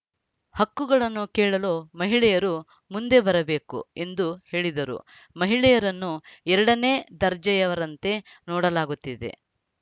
ಹಕ್ಕುಗಳನ್ನು ಕೇಳಲು ಮಹಿಳೆಯರು ಮುಂದೆ ಬರಬೇಕು ಎಂದು ಹೇಳಿದರು ಮಹಿಳೆಯರನ್ನು ಎರಡನೇ ದರ್ಜೆಯವರಂತೆ ನೋಡಲಾಗುತ್ತಿದೆ